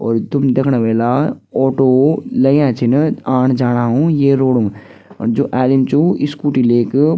और तुम देखणा वेला ऑटो लग्यां छिन आण-जाणा उं ये रोड म और जू आदिम च वू स्कूटी लेक --